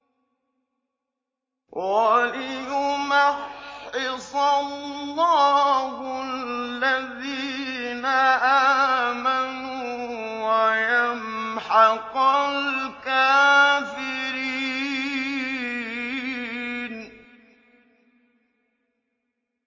وَلِيُمَحِّصَ اللَّهُ الَّذِينَ آمَنُوا وَيَمْحَقَ الْكَافِرِينَ